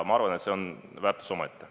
Ma arvan, et see on väärtus omaette.